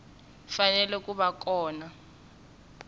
fanele ku va kona ku